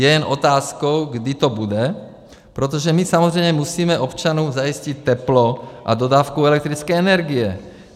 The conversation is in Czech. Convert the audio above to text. Je jen otázkou, kdy to bude, protože my samozřejmě musíme občanům zajistit teplo a dodávku elektrické energie.